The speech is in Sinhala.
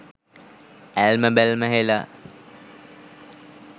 ඇල්ම බැල්ම හෙළා